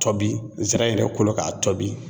Tɔbi nsira yɛrɛ kolo k'a tɔbi